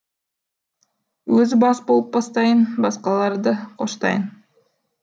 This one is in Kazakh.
өзі бас болып бастайын басқалары да қоштайын